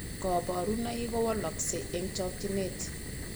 Kaparunaik ko walakse eng chakchinet